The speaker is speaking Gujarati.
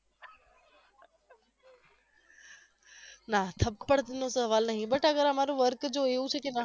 ના થપ્પડ નો સવાલ નહિ but અમારું work એવું છે કે